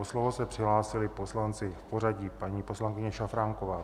O slovo se přihlásili poslanci v pořadí - paní poslankyně Šafránková.